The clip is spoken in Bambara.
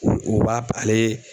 U u b'a ale